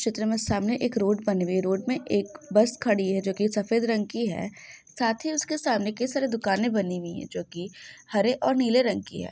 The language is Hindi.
चित्र में सामने एक रोड बनी हैं रोड में एक बस खड़ी हैं जो की सफेद रंग की है साथ ही उसके सामने कई सारे दुकानें बनी हुई हैं जोकि हरे और नीले रंग की है।